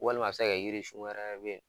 Walima a bɛ se ka kɛ jirisun wɛrɛ bɛ yen